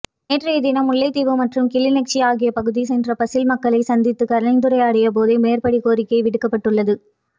நேற்றையதினம் முல்லைத்தீவு மற்றும் கிளிநொச்சி ஆகிய பகுதி சென்ற பசில் மக்களை சந்தித்து கலந்துரையாடிய போதே மேற்படி கோரிக்கை விடுக்கப்பட்டுள்ளது